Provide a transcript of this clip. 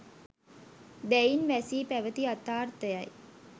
දැයින් වැසී පැවති යථාර්ථය යි